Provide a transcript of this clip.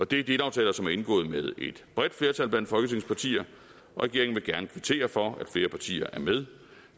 det er delaftaler som er indgået med et bredt flertal blandt folketingets partier og regeringen vil gerne kvittere for at flere partier er med